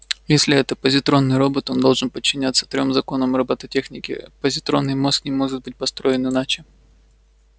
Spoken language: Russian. если это позитронный робот он должен подчиняться трём законам роботехники позитронный мозг не может быть построен иначе